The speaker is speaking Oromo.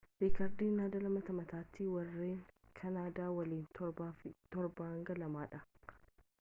riikardiin nadaal mata mataattii warreen kaanadaa waliin 7-2 dha